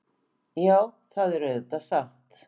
Já, það er auðvitað satt.